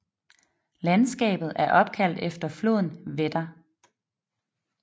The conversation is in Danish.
Landskabet er opkaldt efter floden Wetter